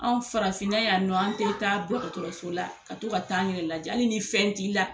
Anw farafinna yan nɔ an tɛ taa dɔgɔtɔrɔso la ka to ka taa an yɛrɛ lajɛ hali ni fɛn t'i la.